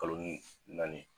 Kaloni naani